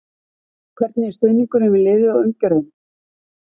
Hvernig er stuðningurinn við liðið og umgjörðin?